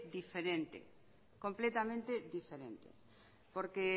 diferente completamente diferente porque